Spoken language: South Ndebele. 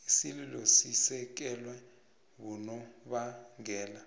isililo sisekelwe bonobangela